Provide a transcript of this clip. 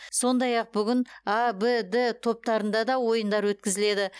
сондай ақ бүгін а в д топтарында да ойындар өткізіледі